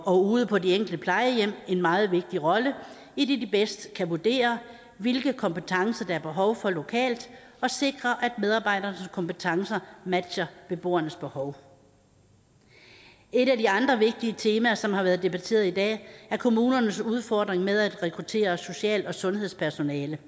og ude på de enkelte plejehjem en meget vigtig rolle idet de bedst kan vurdere hvilke kompetencer der er behov for lokalt og sikre at medarbejdernes kompetencer matcher beboernes behov et af de andre vigtige temaer som har været debatteret i dag er kommunernes udfordring med at rekruttere social og sundhedspersonale